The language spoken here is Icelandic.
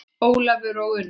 Ólafur og Unnur.